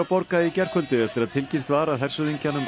borga í gærkvöldi eftir að tilkynnt var að hershöfðingjanum